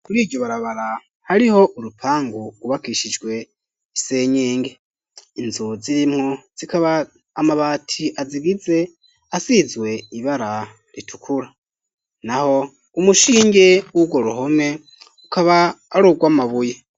Muriryo barabara hariho urupangu rwubakishijwe isenyenge inzu zirimwo zikaba amabati azigize asizwe ibara ritukura naho umushinge wurwo ruhome ukaba arugwa mabuye